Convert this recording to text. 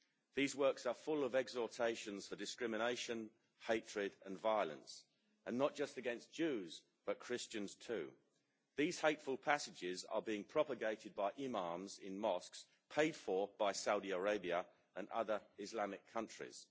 These works are full of exhortations for discrimination, hatred and violence, and not just against Jews, but Christians too. These hateful passages are being propagated by imams in mosques paid for by Saudi Arabia and other Islamic countries.